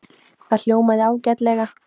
Það hljómaði ágætlega.